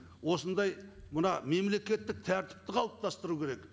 осындай мына мемлекеттік тәртіпті қалыптастыру керек